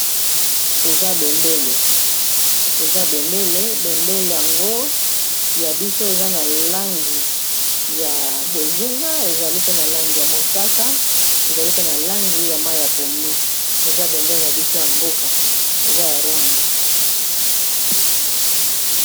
Eza bendele, bendele yango ya biso eza na langi ya bozinga, ezali pe na langi ya mosaka, ezali pe na langi ya mayi ya pondu, eza bendele na biso ya mboka eza ya Rwanda.